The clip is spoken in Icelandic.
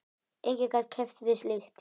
Enginn gat keppt við slíkt.